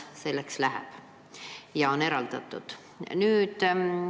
Selleks läheb 15 miljonit aastas.